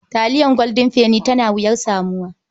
Taliyar Golden Penny tana uwar samuwa.